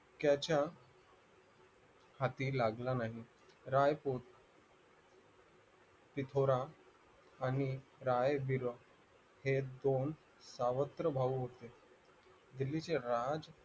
त्याच्या हाती लागला नाही रायतीथोरा आणि राय हे दोन सावत्र भाऊ होते